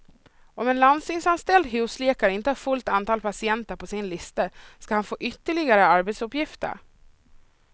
Om en landstingsanställd husläkare inte har fullt antal patienter på sin lista ska han få ytterligare arbetsuppgifter.